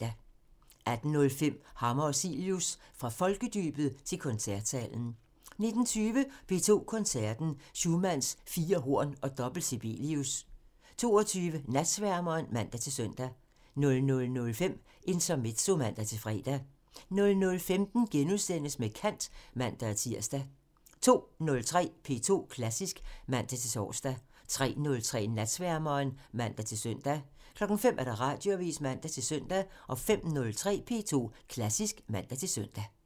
18:05: Hammer og Cilius – Fra folkedybet til koncertsalen 19:20: P2 Koncerten – Schumanns fire horn og dobbelt Sibelius 22:00: Natsværmeren (man-søn) 00:05: Intermezzo (man-fre) 00:15: Med kant *(man-tir) 02:03: P2 Klassisk (man-tor) 03:03: Natsværmeren (man-søn) 05:00: Radioavisen (man-søn) 05:03: P2 Klassisk (man-søn)